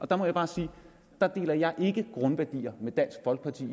der må jeg bare sige at der deler jeg ikke grundværdier med dansk folkeparti